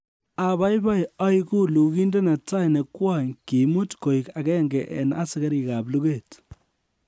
Abaibai oigu lugindet netai ne kwony kiimut koik agenge en asikarikab luget